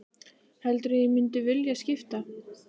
Heldurðu að ég mundi vilja skipta?